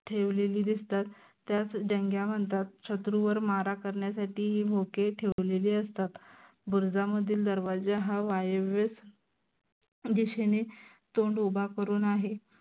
ठेवलेली दिसतात. त्यास जंग्या म्हनतात. शत्रूवर मारा करन्यासाठी ही बोके ठेवलेली असतात. बुरुजामधील दरवाजा हा वयव्यास दिशेने तोंड उभा करून आहे.